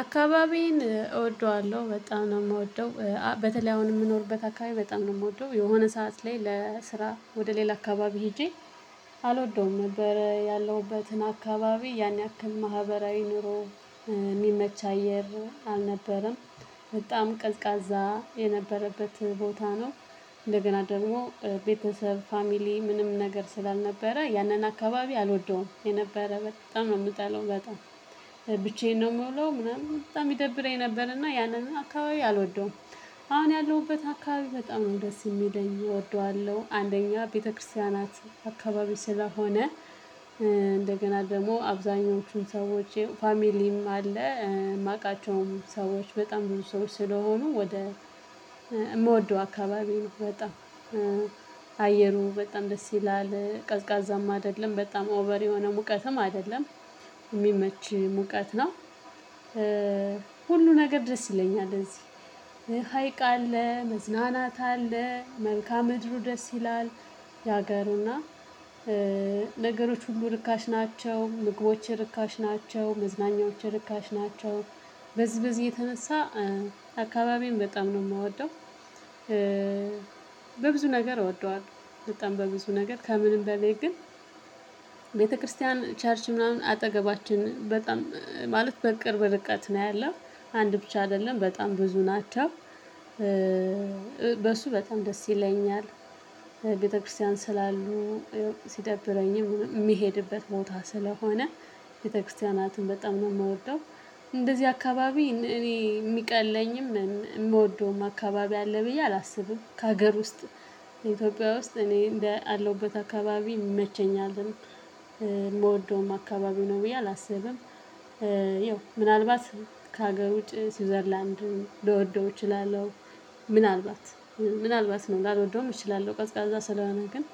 አካባቢዬን እወደዋለሁ። በጣም ነው የምወደው በተለይ አሁን የምኖርበት አካባቢ በጣም ነው የምወደው። የሆነ ሰዓት ላይ ለስራ ወደ ሌላ አካባቢ ሄጄ አልወደውም ነበር ያለሁበትን አካባቢ። ያን ያክል ማህበራዊ ኑሮ የሚመች አየር አልነበረም በጣም ቀዝቃዛ የነበረበት ቦታ ነው። እንደገና ደግሞ ቤተሰብ 'ፋሚሊ' ምንም ነገር ስላልነበረ ያንን አካባቢ አልወደውም። የነበረ በጣም ነው የምጠላው በጣም። ብቻዬን ነው የምውለው ምናምን በጣም ይደብረኝ ነበር። እና ያንን አካባቢ አልወደውም አሁን ያለሁበት አካባቢ በጣም ነው ደስ የሚለኝ እወደዋለሁ። አንደኛ ቤተክርስቲያናት አካባቢ ስለሆነ እንደገና ደግሞ አብዛኞቹን ሰዎች 'ፋሚሊም' አለ የማውቃቸውም ሰዎች በጣም ብዙ ሰዎች ስለሆኑ ወደ የምወደው አካባቢ ነው በጣም። አየሩ በጣም ደስ ይላል። ቀዝቃዛም አይደለም በጣም 'ኦቨር' የሆነ ሙቀትም አይደለም የሚመች ሙቀት ነው። ሁሉ ነገር ደስ ይለኛል እዚህ። ሀይቅ አለ መዝናናት አለ መልካዓ ምድሩ ደስ ይላል የሀገሩና። ነገሮች ሁሉ ርካሽ ናቸው። ምግቦች ርካሽ ናቸው። መዝናኛዎች ርካሽ ናቸው። በዚበዚ የተነሳ አካባቢዬን በጣም ነው የምወደው። በብዙ ነገር እወደዋለሁ በጣም በብዙ ነገር ከምንም በላይ ግን ቤተክርስቲያን ቸርች ምናምን አጠገባችን በጣም ማለት በቅርብ ርቀት ነው ያለው። አንድ ብቻ አይደለም በጣም ብዙ ናቸው። በሱ በጣም ደስ ይለኛል። ቤተክርስቲያን ስላሉ ሲደብረኝም የሚሄድበት ቦታ ስለሆነ ቤተክርስቲያናቱን በጣም ነው የምወደው እንደዚህ አካባቢ እኔ የሚቀለኝም የምወደውም አካባቢ አለ ብዬ አላስብም ከሀገር ውስጥ ኢትዮጵያ ውስጥ እኔ እንደ አለሁበት አካባቢ ይመቸኛልም የምወደውም አካባቢ ነው ብዬ አላስብም። ይኸው ምናልባት ከሀገር ውጪ ስዊዘርላንድን ልወደው እችላለሁ። ምናልባት ምናልባት ነው ላልወደውም እችላለሁ ቀዝቃዛ ስለሆነ። ግን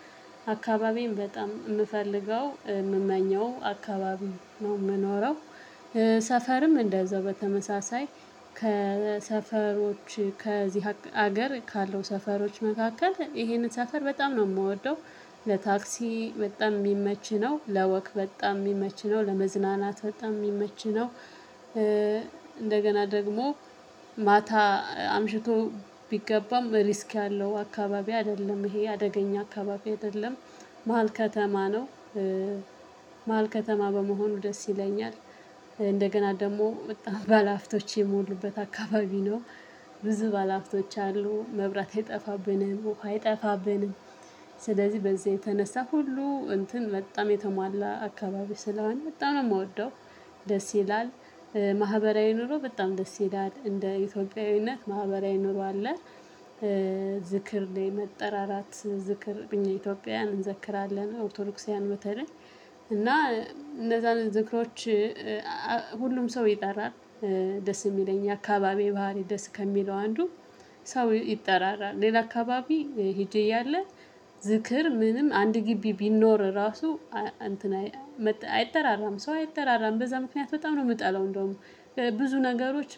አካባቢኤን በጣም የምፈልገው የምመኘው አካባቢ ነው የምኖረው። ሰፈርም እንደዛው በተመሳሳይ ከሰፈሮች ከዚህ ሀገር ካለው ሰፈሮች መካከል ይሄንን ሰፈር በጣም ነው የምወደው። ለታክሲ በጣም የሚመች ነው። ለወቅ በጣም የሚመች ነው። ለመዝናናት በጣም የሚመች ነው። እንደገና ደግሞ ማታ አምሽቶ ቢገባም 'ሪስክ' ያለው አካባቢ አይደለም። ይሄ አደገኛ አካባቢ አይደለም። መሃል ከተማ ነው። መሃል ከተማ በመሆኑ ደስ ይለኛል። እንደገና ደግሞ በጣም ባለሐብቶች የሞሉበት አካባቢ ነው። ብዙ ባለሐብቶች አሉ መብራት አይጠፋብንም ውሃ አይጠፋብንም። ስለዚህ በዚህ የተነሳ ሁሉ እንትን በጣም የተሟላ አካባቢ ስለሆነ በጣም ነው የምወደው። ደስ ይላል። ማህበራዊ ኑሮ በጣም ደስ ይላል። እንደ ኢትዮጵያዊነት ማህበራዊ ኑሮ አለ። ዝክር ላይ መጠራራት ዝክር እኛ ኢትዮጵያውያን እንዘክራለን ኦርቶዶክሶዋያን በተለይ እና እነዛን ዝክሮች ሁሉም ሰው ይጠራል ደስ የሚለኝ አካባቢ ባህሪ ደስ ከሚለው አንዱ ሰው ይጠራራል ሌላ አካባቢ ሄጄ እያለ ዝክር ምንም አንድ ግቢ ቢኖር ራሱ አይጠራራም ሰው አይጠራራም በዛ ምክንያት በጣም ነው የምጠለው እንደውም። ብዙ ነገሮች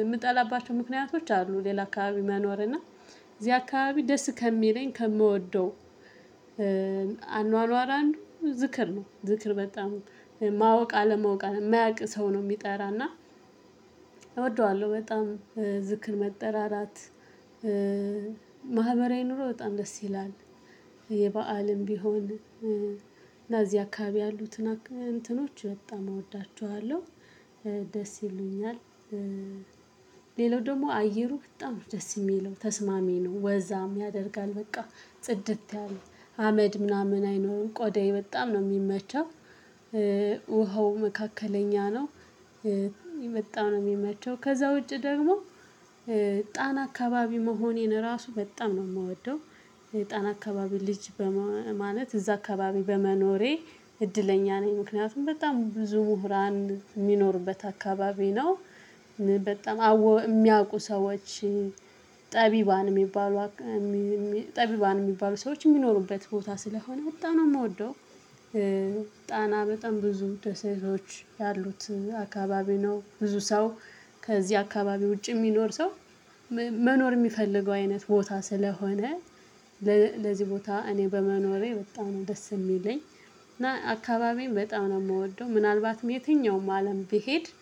የምጠላባቸው ምክንያቶች አሉ ሌላ አካባቢ መኖር። እና እዚህ አካባቢ ደስ ከሚለኝ ከምወደው አኗኗር አንዱ ዝክር ነው። ዝክር በጣም ማወቅ አለማወቅ የማያውቅ ሰው ነው የሚጠራ እና እወደዋለሁ በጣም ዝክር መጠራራት ማህበራዊ ኑሮ በጣም ደስ ይላል የበአዓልም ቢሆን እና እዚህ አካባቢ ያሉትን እንትኖች በጣም እወዳቸዋለሁ፤ ደስ ይሉኛል። ሌላው ደግሞ አየሩ በጣም ነው ደስ የሚለው ተስማሚ ነው። ወዛም ያደርጋል በቃ ጽድት ያለ አመድ ምናምን አይኖርም ቆዳዬ በጣም ነው የሚመቻው። ውሃው መካከለኛ ነው የመጣ ነው የሚመቸው። ከዛ ውጪ ደግሞ ጣና አካባቢ መሆኔን ራሱ በጣም ነው የምወደው። ጣና አካባቢ ልጅ በማለት እዛ አካባቢ በመኖሬ እድለኛ ነኝ። ምክንያቱም በጣም ብዙ ምሁራን የሚኖሩበት አካባቢ ነው። በጣም የሚያውቁ ሰዎች ጠቢባን የሚባሉ ጠቢባን የሚባሉ ሰዎች የሚኖሩበት ቦታ ስለሆነ በጣም ነው የምወደው። ጣና በጣም ብዙ ደሴቶች ያሉት አካባቢ ነው። ብዙ ሰው ከዚህ አካባቢ ውጪ የሚኖር ሰው መኖር የሚፈልገው አይነት ቦታ ስለሆነ በዚህ ቦታ እኔ በመኖሬ በጣም ነው ደስ የሚለኝ። እና አካባቢዬን በጣም ነው የምወደው ምናልባትም የትኛውም አለም ብሄድ